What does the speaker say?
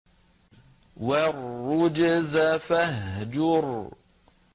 وَالرُّجْزَ فَاهْجُرْ